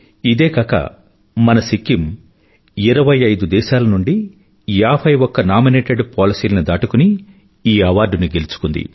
ఇదే కాక మన సిక్కిం ఇరవై ఐదు దేశాల నుండి యాభై ఒక్క నామినేటెడ్ పాలసీలను దాటుకుని ఈ అవార్డుని గెలుచుకుంది